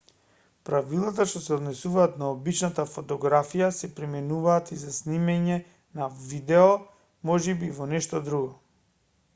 правилата што се однесуваат на обичната фотографија се применуваат и за снимање на видео можеби и во нешто друго